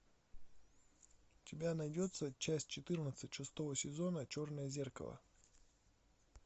у тебя найдется часть четырнадцать шестого сезона черное зеркало